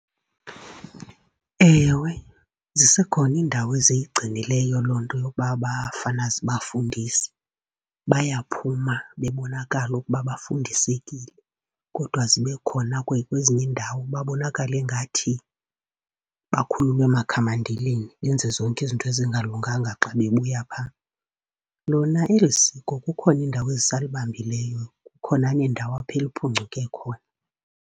Ewe, zisekhona indawo eziyigcinileyo loo nto yokuba abafana siba fundise, bayaphuma bebonakala ukuba bafundisekile. Kodwa zibe khona kwezinye iindawo babonakale ingathi bakhululwe amakhamandelweni, benze zonke izinto ezingalunganga xa bebuya phaa. Lona eli siko kukhona indawo ezisalibambileyo, kukhona neendawo apho eliphuncuke khona.